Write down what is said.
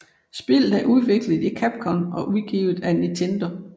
Spillet er udviklet af Capcom og udgivet af Nintendo